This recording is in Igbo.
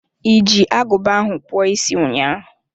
Iji aguba ahụ kpụọ isi ụnyaahụ.